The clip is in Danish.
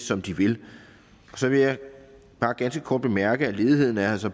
som de vil så vil jeg bare ganske kort bemærke at ledigheden altså